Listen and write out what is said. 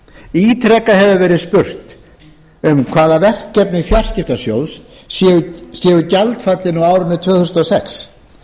ítrekað hefur verið spurt um hvaða verkefni fjarskiptasjóðs séu gjaldfallin á árinu tvö þúsund og sex